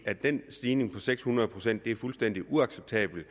at den stigning på seks hundrede procent er fuldstændig uacceptabel